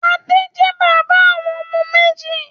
Adé jẹ́ bàbá àwọn ọmọ méjì.